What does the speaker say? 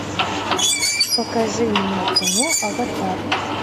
покажи мне кино аватар